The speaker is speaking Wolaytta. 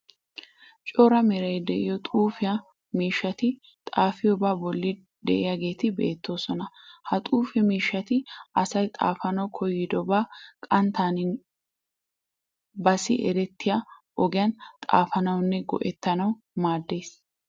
Cora meray de'iyo xuufiya miishshati xaafiyobaa bolli de'iyageeti beettoosona. Ha xuufe miishshati asay xaafanawu koyidobaa qanttaaninne baassi erettiya ogiyan xaafanawunne go'ettanawu maaddees.